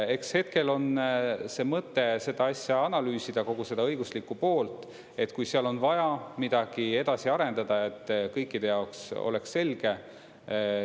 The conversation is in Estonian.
Hetkel on mõte seda asja analüüsida, kogu seda õiguslikku poolt, et kui seal on vaja midagi edasi arendada, et kõikide jaoks oleks selge.